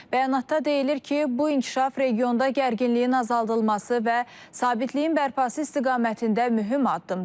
Bəyanatda deyilir ki, bu inkişaf regionda gərginliyin azaldılması və sabitliyin bərpası istiqamətində mühüm addımdır.